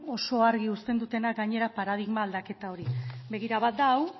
oso argi usten dutenak gainera paradigma aldaketa hori begira bat da hau